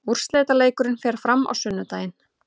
Úrslitaleikurinn fer fram á sunnudaginn.